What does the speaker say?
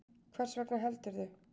Hvers vegna heldurðu?